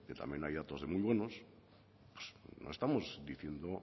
que también hay datos de muy buenos no estamos diciendo